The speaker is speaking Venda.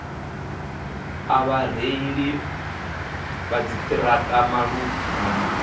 a vhareili vha dziṱhirakha malugana